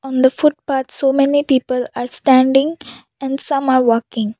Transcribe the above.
on the footpath so many people are standing and some are working.